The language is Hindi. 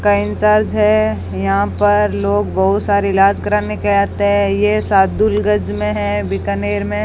का इंचार्ज है यहां पर लोग बहुत सारे इलाज कराने के आते हैं ये सादुलगंज में है बीकानेर में।